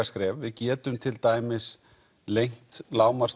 skref við getum til dæmis lengt